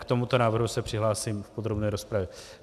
K tomuto návrhu se přihlásím v podrobné rozpravě.